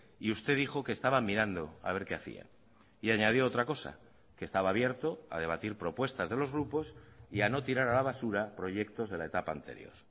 y usted dijo que estaban mirando a ver qué hacían y añadió otra cosa que estaba abierto a debatir propuestas de los grupos y a no tirar a la basura proyectos de la etapa anterior